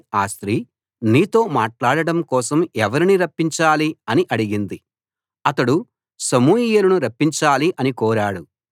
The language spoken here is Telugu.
ఆ స్త్రీ నీతో మాట్లాడడం కోసం ఎవరిని రప్పించాలి అని అడిగింది అతడు సమూయేలును రప్పించాలి అని కోరాడు